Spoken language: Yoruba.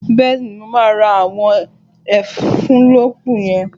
Bẹ́ẹ̀ni, mo máa ra àwọn ẹ́ńfílóòpù yẹn